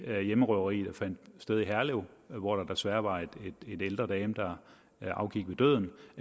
hjemmerøveri der fandt sted i herlev hvor der desværre var en ældre dame der afgik ved døden